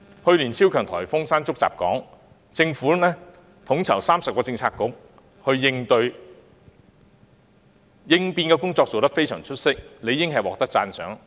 去年超強颱風山竹襲港，政府統籌30個政策局作出應對，應變工作做得非常出色，理應獲得讚賞。